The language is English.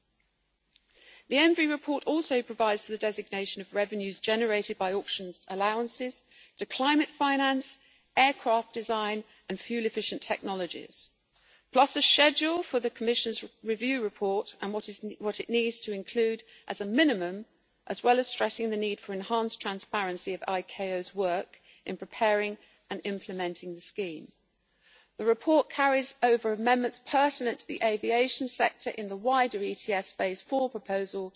The Environment Committee's report also provides for the designation of revenues generated by auctioned allowances to climate finance, aircraft design and fuel efficient technologies, plus a schedule for the Commission's review report and what it needs to include as a minimum, as well as stressing the need for enhanced transparency of ICAO's work in preparing and implementing the scheme. The report carries over amendments pertinent to the aviation sector in the wider ETS Phase IV proposal,